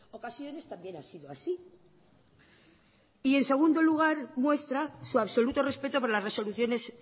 ocasiones también ha sido así y en segundo lugar muestra su absoluto respeto por las resoluciones